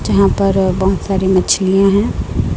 जहां पर बहुत सारी मछलियां है।